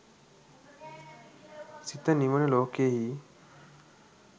සිත නිවන ලෝකයෙහි